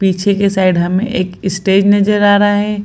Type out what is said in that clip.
पीछे के साइड हमें एक स्टेज नजर आ रहे हैं।